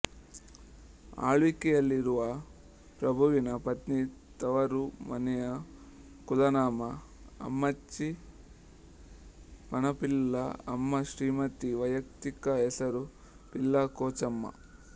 ಆಳ್ವಿಕೆಯಲ್ಲಿರುವ ಪ್ರಭುವಿನ ಪತ್ನಿ ತವರು ಮನೆಯ ಕುಲನಾಮ ಅಮ್ಮಚ್ಚಿ ಪನಪಿಲ್ಲಾ ಅಮ್ಮ ಶ್ರೀಮತಿ ವೈಯಕ್ತಿಕ ಹೆಸರು ಪಿಲ್ಲಾ ಕೊಚಮ್ಮಾ